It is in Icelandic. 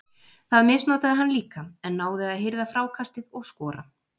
Það misnotaði hann líka en náði að hirða frákastið og skora.